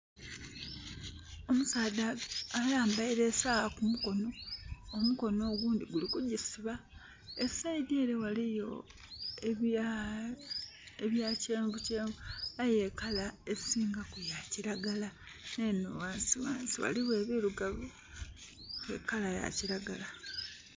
Omusaadha ayambaile esaagha ku mukono. Omukono ogundhi guli kugisiba. E side ele ghaliyo ebya, ebya kyenvukyenvu aye e colour esingaku ya kiragala. Me enho ghansi ghansi ghaligho ebirugavu nhe colour ya kiragala.